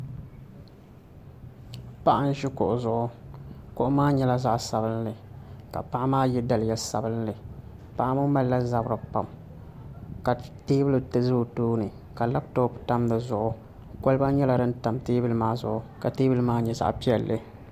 Paɣa n ʒi kuɣu zuɣu kuɣu maa nyɛla zaɣ sabinli ka paɣa maa yɛ daliya sabinli paɣa ŋo malila zabiri pam ka teebuli ʒɛ o tooni ka labtop tam di zuɣu kolba nyɛla din tam teebuli maa zuɣu ka teebuli maa nyɛ zaɣ piɛlli